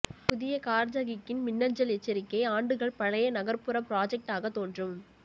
புதிய கார்ஜகிக்கின் மின்னஞ்சல் எச்சரிக்கை ஆண்டுகள் பழைய நகர்ப்புற புராஜெக்ட் ஆக தோன்றும்